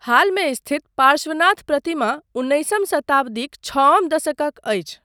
हालमे स्थित पार्श्वनाथ प्रतिमा उन्नीसवी शताब्दीक छअम दशकक अछि।